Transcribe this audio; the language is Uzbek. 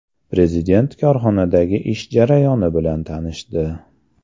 Prezident korxonadagi ish jarayoni bilan tanishdi.